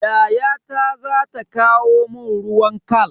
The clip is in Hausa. Yayata za ta kawo mun ruwan khal.